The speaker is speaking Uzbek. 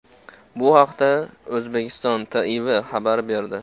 Bu haqda O‘zbekiston TIV xabar berdi.